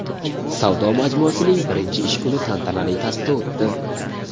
Savdo majmuasining birinchi ish kuni tantanali tarzda o‘tdi.